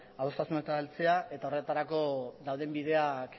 adostasunetara heltzea eta horretarako dauden bideak